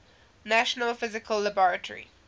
national physical laboratory